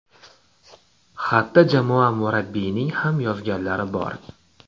Xatda jamoa murabbiyining ham yozganlari bor.